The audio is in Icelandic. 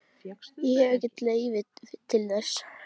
Ég hef ekkert leyfi til þess.